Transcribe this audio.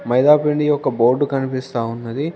మైదాపిండి యొక్క బోర్డు కనిపిస్తా ఉన్నది.